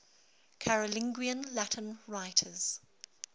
carolingian latin writers